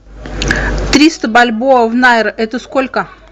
триста бальбоа в найр это сколько